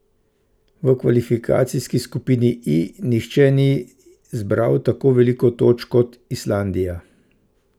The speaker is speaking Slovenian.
V kvalifikacijski skupini I nihče ni zbral tako veliko točk kot Islandija.